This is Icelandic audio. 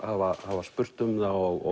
hafa hafa spurt um það og